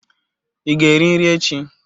Ị ga-eri nri echi?